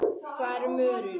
Hvað eru mörur?